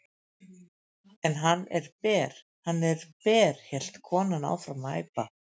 En hann er ber, hann er ber hélt konan áfram að æpa.